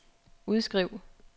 udskriv